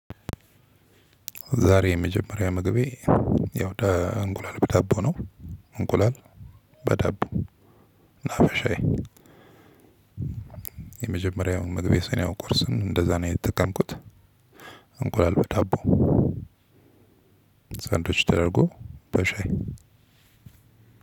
ዛሬ የመጀመሪያ ምግቤ ያው እንቁላል በዳቦ ነው። እንቁላል በዳቦ እና በሻዬ። የመጀመሪያውን ምግቤ ስለሆነ ቁርስን እንደዛ ነው የተጠቀምኩት። እንቁላል በዳቦ ሳንዱች ተደርጎ በሻይ።